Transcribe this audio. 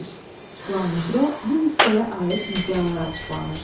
Plan üzrə bu hissəyə aid müddəalar açıqlanır.